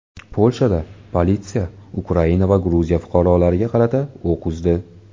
Polshada politsiya Ukraina va Gruziya fuqarolariga qarata o‘q uzdi.